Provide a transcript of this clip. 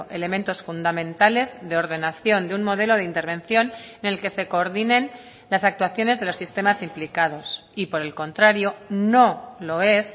elementos fundamentales de ordenación de un modelo de intervención en el que se coordinen las actuaciones de los sistemas implicados y por el contrario no lo es